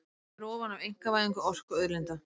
Undið verði ofan af einkavæðingu orkuauðlinda